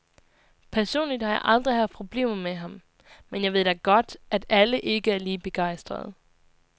Personligt har jeg aldrig haft problemer med ham, men jeg ved da godt, at alle ikke er lige begejstrede.